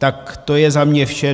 Tak to je za mě vše.